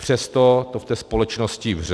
Přesto to v té společnosti vře.